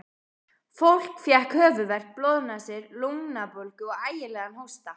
Fólk fékk höfuðverk, blóðnasir, lungnabólgu og ægilegan hósta.